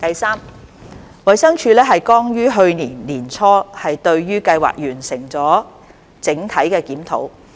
三衞生署剛於去年年初對計劃完成了整體檢討。